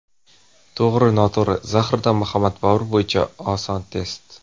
To‘g‘ri-noto‘g‘ri: Zahiriddin Muhammad Bobur bo‘yicha oson test.